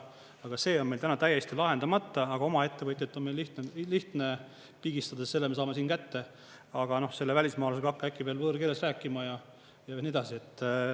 Aga see on meil täna täiesti lahendamata, aga oma ettevõtet on meil lihtne pigistada, selle me saame siin kätte, aga selle välismaalasega hakka äkki veel võõrkeeles rääkima ja nii edasi.